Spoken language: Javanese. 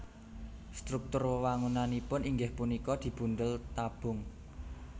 Struktur wewangunanipun inggih punika dibundel tabung